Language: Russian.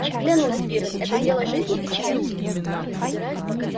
клянусь пиренн это дело жизни и смерти